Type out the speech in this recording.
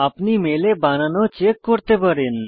আপনি মেলে বানান ও চেক করতে পারেন